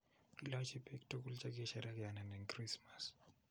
Ilochi biik tukuk che kisherekeanen eng krismas